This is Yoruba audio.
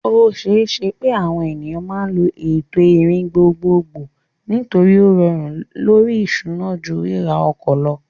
O ṣeé ṣe pé àwọn ènìyàn máa lo ètò ìrìn gbogbogbò nítorí ó rọrùn lórí ìṣúná ju ríra ọkọ̀ lọ.